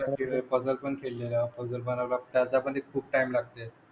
puzzle पण खेळलेले आहोत पझल पणाला त्याच्याहून हि खूप टाईम लागते